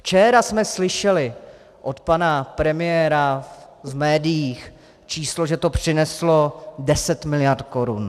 Včera jsme slyšeli od pana premiéra v médiích číslo, že to přineslo 10 mld. korun.